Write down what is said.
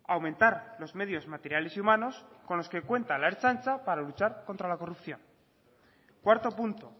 aumentar los medios materiales y humanos con los que cuenta la ertzaintza para luchar contra la corrupción cuarto punto